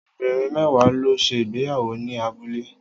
Obìnrin mẹ́wàá ló ṣe ìgbéyàwó ní abúlé